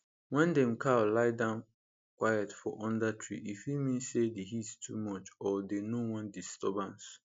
wen dem cow lie down quiet for under tree e fit mean say the heat too much or dey no wan disturbance